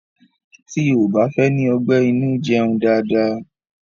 Tí o ò bá fẹ́ ní ọgbẹ́ inú jẹun dáadáa.